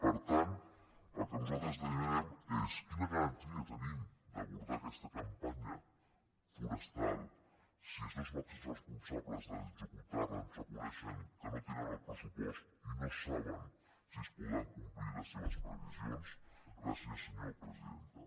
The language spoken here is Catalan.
per tant el que nosaltres demanem és quina garantia tenim d’abordar aquesta campanya forestal si els dos màxims responsables d’executar·la ens reconeixen que no tenen el pressupost i no saben si es podran complir les seves previsions gràcies senyora presidenta